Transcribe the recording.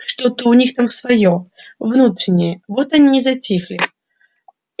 что-то у них там своё внутреннее вот они и затихли